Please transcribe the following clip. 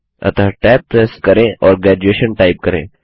अतः tab press करें और ग्रेजुएशन टाइप करें